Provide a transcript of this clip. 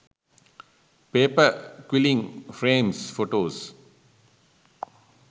paper quilling frames photos